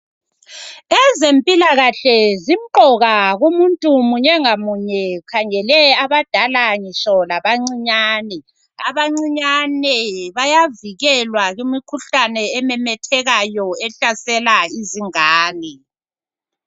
Ezempilakahle zimqoka kumuntu munye ngamunye ngikhangele abadala ngitsho labancinyane, abancinyane bayavikelwa kimikhuhlane ememethekayo ehlasela izingane.